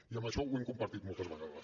i això ho hem compartit moltes vegades